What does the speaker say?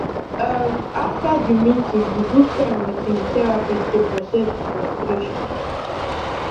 um after the meeting he book time with him therapist to process the frustration